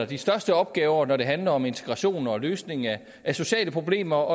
de største opgaver når det handler om integration og løsning af sociale problemer